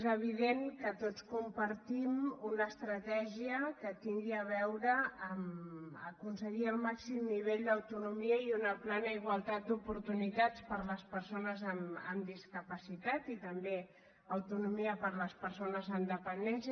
és evident que tots compartim una estratègia que tingui a veure amb el fet d’aconseguir el màxim nivell d’autonomia i una plena igualtat d’oportunitats per a les persones amb discapacitat i també autonomia per a les persones amb dependència